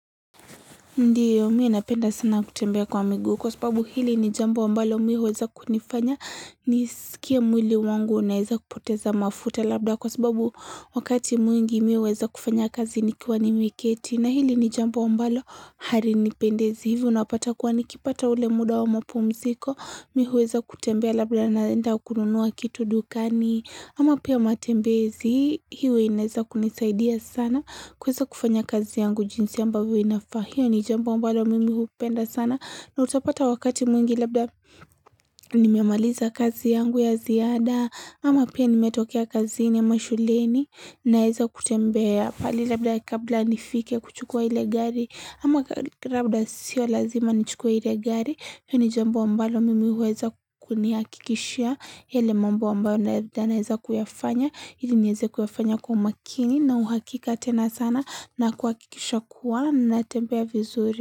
Ndiyo miya napenda sana kutembea kwa miguu kwa sababu hili ni jambo ambalo miya huweza kunifanya nisikie mwili wangu unaeza kupoteza mafuta labda kwa sababu wakati mwingi miya weza kufanya kazi nikiwa ni miketi na hili ni jambo ambalo hari nipendezi hivyo unapata kwa nikipata ule muda wa mpumziko miya weza kutembea labda naenda ukunuwa kitu dukani ama pia matembezi hivyo inaeza kunisaidia sana kweza kufanya kazi yangu jinsi ambavu inafa. Hiyo ni jambu mbalo mimi hupenda sana na utapata wakati mwingi labda nimemaliza kazi yangu ya ziada Ama pia nimetokea kazi ni amashuleni na heza kutembea pale labda kabla nifike kuchukua hile gari Ama labda sio lazima nichukua hile gari hiyo ni jambu mbalo mimi huweza kukuniakikishia ele mambo ambalo naheza kuyafanya ili nyeze kufanya kwa makini na uhakika tena sana na kuakikisha kwa na tempeya vizuri.